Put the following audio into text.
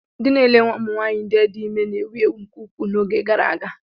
Ndị na-ele ụmụ nwaanyị di ime na-ewu ewu nke ukwuu n'oge gara aga.